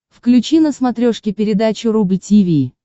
включи на смотрешке передачу рубль ти ви